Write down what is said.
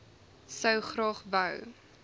sou graag wou